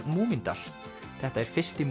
Múmíndal þetta er fyrsti